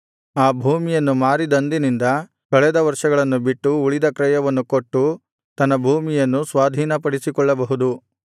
ಆ ಭೂಮಿಯನ್ನು ಮಾರಿದಂದಿನಿಂದ ಕಳೆದ ವರ್ಷಗಳನ್ನು ಬಿಟ್ಟು ಉಳಿದ ಕ್ರಯವನ್ನು ಕೊಟ್ಟು ತನ್ನ ಭೂಮಿಯನ್ನು ಸ್ವಾಧೀನಪಡಿಸಿಕೊಳ್ಳಬಹುದು